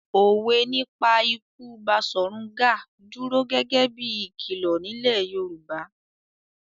Òwe nípa ikú Baṣọ̀run Gáà dúró gẹ́gẹ́ bí i ìkìlọ̀ nílẹ̀ Yorùbá.